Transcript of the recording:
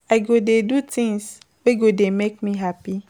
I go dey do tins wey go dey make me hapi.